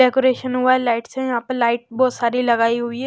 Decoration हुआ है lights हैं यहां पर लाइट बहोत सारी लगाई हुई है।